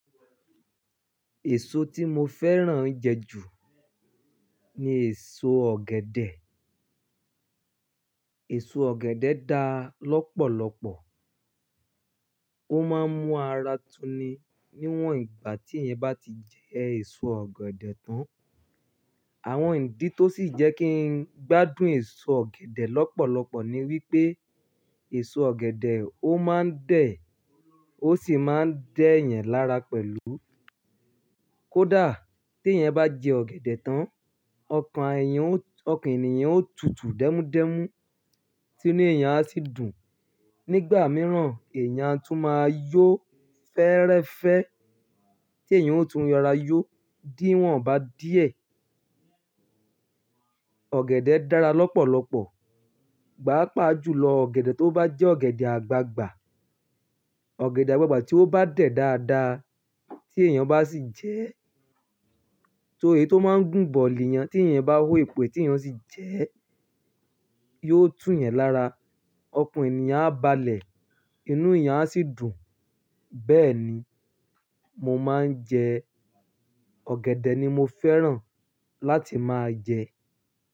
Èso tí mo fẹ́ràn jẹ ju ni èso ọ̀gẹ̀dẹ̀. Èso ọ̀gẹ̀dẹ̀ da lọ́pọ̀lọ́pọ̀. Ó máa ń mú ara tuni. Níwòn ìgbà tí èyàn bá ti jẹ èso ọ̀gẹ̀dẹ̀ tán, àwọn ìdí tó sì jẹ́ kí n gbádùn èso ọ̀gẹ̀dẹ̀ lọ́pọ̀lọ́pọ̀ ni wípé èso ọ̀gẹ̀dẹ̀ ó máa ń dẹ̀, ó sì máa ń dẹ́ yẹn lára pẹ̀lú. Kódà tí èyàn bá jẹ ọ̀gẹ̀dẹ̀ tán, ọkàn èyàn ó, ọkàn ènìyàn ó tutù dẹ́múdẹ́mú, ti inú èyàn á sì dùn. Nígbà mìíràn, èyàn a tún máa yó fẹ́rẹ́fẹ́ tí èyàn ó tún yára yó. Díwọ̀n bá díẹ̀, ọ̀gẹ̀dẹ̀ dára lọ́pọ̀lọ́pọ̀. Pàápàá jùlọ ọ̀gẹ̀dẹ̀ tó bá jẹ́ ọ̀gẹ̀dẹ̀ àgbagbà. Ọ̀gẹ̀dẹ̀ àgbagbà tí ó bá dẹ̀ dáadáa tí èyàn bá sì jẹ ẹ́ èyí tó máa ń gùn bọ̀lì yẹn tí èyàn bá hó epo ẹ tí èyàn sì jẹ ẹ́, yóò tú yan lára, ọkàn ènìyàn á balẹ̀, inú èyàn á sì dùn. Bẹ́ẹ̀ni, mo máa ń jẹ, ọ̀gẹ̀dẹ̀ ni mo fẹ́ràn láti máa jẹ.